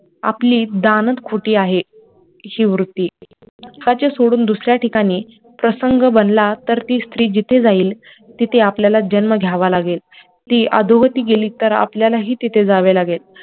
आपली दानंद खुंटी आहे वृत्ती हक्काचे सोडून दुसऱ्या ठिकाणी प्रसंग बनला तर ती स्त्री जिथे जाईल तिथे आपल्याला जन्म घ्यावा लागेल, ती अधोगती गेली तर आपल्याला हि तिथे जावा लागेल